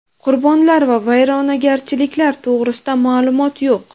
Qurbonlar va vayronagarchiliklar to‘g‘risida ma’lumot yo‘q.